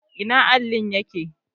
Ina allin yake?